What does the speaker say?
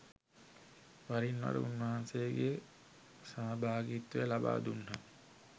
වරින්වර උන්වහන්සේගේ සහභාගිත්වය ලබාදුන්හ.